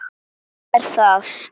Hann er það.